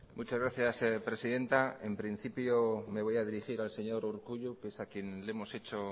muchas gracias presidenta en principio me voy a dirigir al señor urkullu que es a quien le hemos hecho